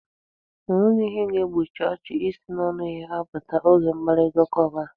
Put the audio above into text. E nweghi ihe ga-egbochi ọchị isi n'ọnụ ya apụta oge mkparitaụka ọ bụla.